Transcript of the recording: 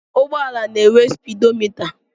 Ụgbọala na-enwe spidomịta.